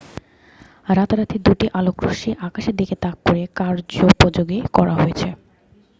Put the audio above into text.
রাতারাতি দুটি আলোকরশ্মি আকাশের দিকে তাক করে কার্যপযোগী করা হয়েছে